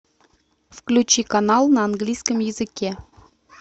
включи канал на английском языке